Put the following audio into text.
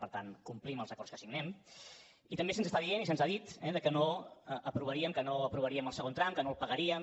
per tant complim els acords que signem i també se’ns està dient i se’ns ha dit que no aprovaríem el segon tram que no el pagaríem